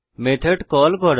method call করা